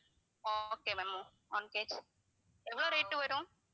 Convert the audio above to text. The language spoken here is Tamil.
ஆஹ் okay ma'am one KG எவ்ளோ rate வரும்?